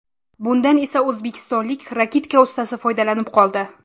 Bundan esa o‘zbekistonlik raketka ustasi foydalanib qoldi.